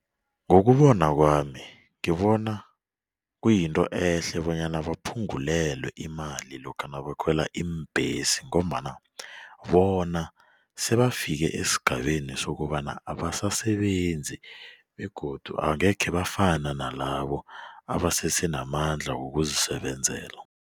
Ngokubona kwami ngibona kuyinto ehle bonyana baphungulelwe imali lokha nabakhwela iimbhesi ngombana bona sebafika esigabeni sokobana abasasebenzi begodu angekhe bafana nalabo abasesenamandla wokuzisebenzela.